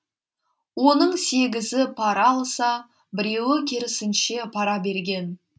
оның сегізі пара алса біреуі керісінше пара берген